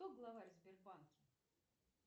кто главарь в сбербанке